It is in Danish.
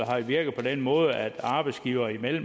har virket på den måde at arbejdsgivere